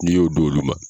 N'i y'o d'olu ma